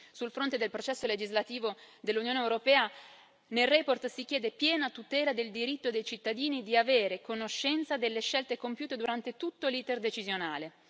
Sul fronte del processo legislativo dell'Unione europea, nella relazione si chiede piena tutela del diritto dei cittadini di avere conoscenza delle scelte compiute durante tutto l'iter decisionale.